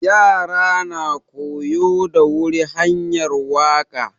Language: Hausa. Ƴara na koyo da wuri hanƴar waka.